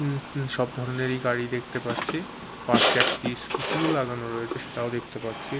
উ উ সব ধরনেরই গাড়ি দেখতে পাচ্ছি পাশে একটি স্কুটি -ও লাগানো রয়েছে সেটাও দেখতে পাচ্ছি।